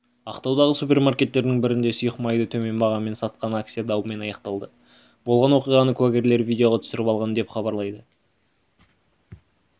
ақтаудағы супермаркеттердің бірінде сұйық майды төмен бағамен сатқан акция даумен аяқталды болған оқиғаны куәгерлер видеоға түсіріп алған деп хабарлайды